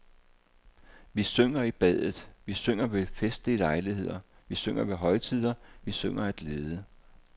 Vi synger i badet, vi synger ved festlige lejligheder, vi synger ved højtider, vi synger af glæde.